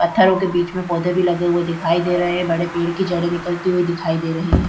पत्थरों के बीच में पौधे भी लगे हुए दिखाई दे रहें हैं बड़े पेड़ की जड़ें निकलती हुई दिखाई दे रहीं है।